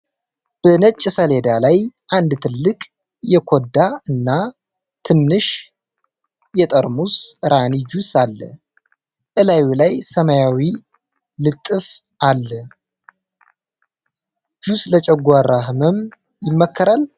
በነጭ ሰሌዳ ላይ አንድ ትልቅ የኮዳ እና ትንሽ የጠርሙስ ራኒ ጁስ አለ ፤ እላዩ ላይ ሰማያዊ ልጥፍ አለ ጥያቄ :- ጁስ ለጨጓራ ሕመም ይመከራል?